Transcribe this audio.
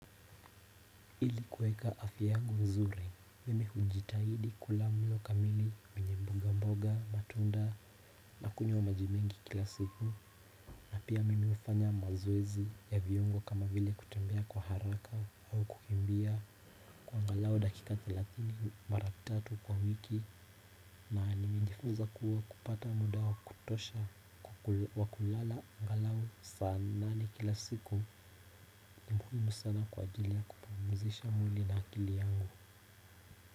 Ili kueka afya yangu nzuri mimi hujitahidi kula mlo kamili menyemboga mboga matunda nakunywa wa maji mengi kila siku na pia mimi hufanya mazowezi ya viongo kama vile kutambea kwa haraka au kukimbia kwa angalau dakika thelathini mara tatu kwa wiki na nimejifunza kuwa kupata muda wa kutosha kukul wakulala angalau saa nane kila siku ni muhimu sana kwa ajili ya kupumuzisha mwili na akili yangu.